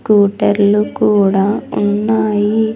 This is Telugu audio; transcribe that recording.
స్కూటర్లు కూడా ఉన్నాయి.